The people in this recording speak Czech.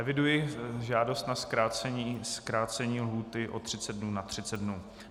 Eviduji žádost na zkrácení lhůty o 30 dnů na 30 dnů.